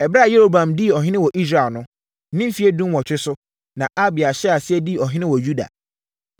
Ɛberɛ a Yeroboam dii ɔhene wɔ Israel no, ne mfeɛ dunwɔtwe so, na Abia hyɛɛ aseɛ dii ɔhene wɔ Yuda.